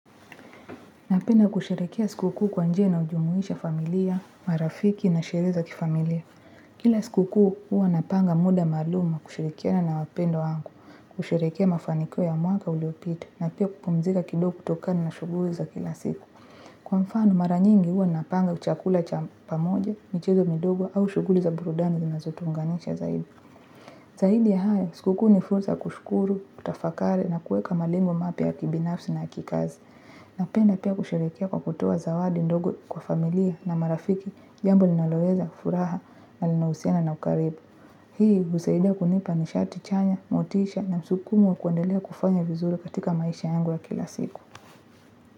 Napenda kusherekea siku kuu kwa njia inayo jumuisha familia, marafiki na sherehe za kifamilia. Kila siku kuu huwa napanga muda maalum kushirikiana na wapendwa wangu, kusherekea mafaniko ya mwaka uliyopita na pia kupumzika kidogo kutokana na shuguli za kila siku. Kwa mfano maranyingi huwa napanga chakula cha pamoja, michezo midogo au shuguli za burudani zinazotu unganisha zaidi. Zaidi ya hao, siku kuu nifrusa ya kushkuru, kutafakari na kueka malengo mapya ya kibinafsi na kikazi. Napenda pia kusherekea kwa kutoa zawadi ndogo kwa familia na marafiki jambo linaloleweza, furaha na linausiana na ukaribu. Hii husaidia kunipa nishati chanya, motisha na msukumo wa kuendelea kufanya vizuri katika maisha yangu wa kila siku.